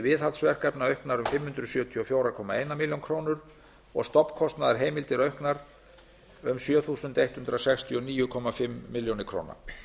viðhaldsverkefna auknar um fimm hundruð sjötíu og fjögur komma eina milljón króna og stofnkostnaðarheimildir auknar um sjö þúsund hundrað sextíu og níu og hálfa milljón króna